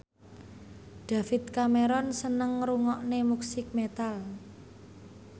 David Cameron seneng ngrungokne musik metal